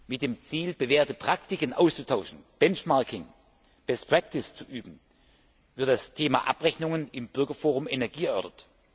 Mit dem Ziel, bewährte Praktiken auszutauschen, Benchmarking, best practice zu üben, wird das Thema Abrechnungen im Bürgerforum Energie erörtert.